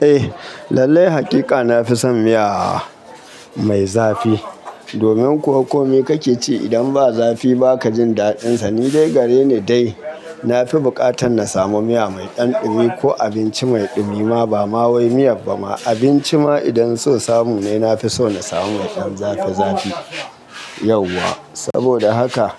Eh lallai hakika na fi son miya mai zafi. Domin ko komai kake ci, idan ba zafi ba ka jin daɗinsa. Ni dai gare ni dai, na fi bukatan na samu miya mai ɗan ɗumi ko abinci mai ɗumi ma ba ma wai miya ba ma abinci ma idan so samu ne, na fi so na samu mai ɗan zafi zafi yauwa. Saboda haka